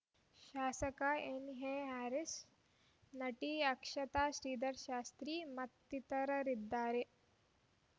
ಶಾಸಕ ಎನ್ಎ ಹ್ಯಾರೀಸ್ ನಟಿ ಅಕ್ಷತಾ ಶ್ರೀಧರ್ ಶಾಸ್ತ್ರಿ ಮತ್ತಿತರರಿದ್ದಾರೆ